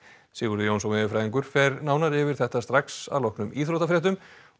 Sigurður Jónsson veðurfræðingur fer nánar yfir þetta strax að loknum íþróttafréttum